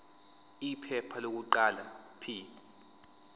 iphepha lokuqala p